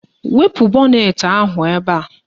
Wepu bọnetị ahụ ebe a